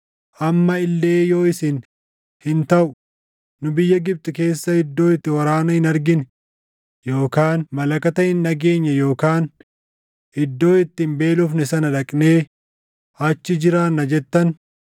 amma illee yoo isin, ‘Hin taʼu, nu biyya Gibxi keessa iddoo itti waraana hin argine yookaan malakata hin dhageenye yookaan iddoo itti hin beelofne sana dhaqnee achi jiraanna’ jettan,